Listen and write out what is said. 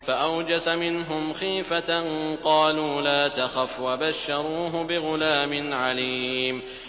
فَأَوْجَسَ مِنْهُمْ خِيفَةً ۖ قَالُوا لَا تَخَفْ ۖ وَبَشَّرُوهُ بِغُلَامٍ عَلِيمٍ